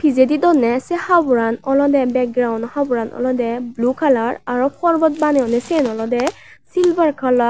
pijedi donney sei haboran olodey bakgrounnno habor olodey blue colour aro palbat baneyonney siyen olodey silver colour.